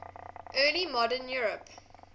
early modern europe